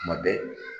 Tuma bɛɛ